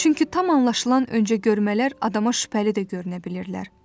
Çünki tam anlaşılan öncə görmələr adama şübhəli də görünə bilirlər.